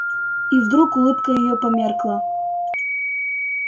и вдруг улыбка её померкла